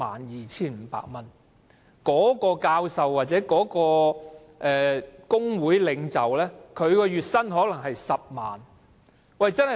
然而，一名教授或工會領袖的月薪往往是10萬元或更高。